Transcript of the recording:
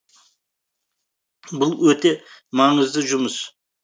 бұл өте маңызды жұмыс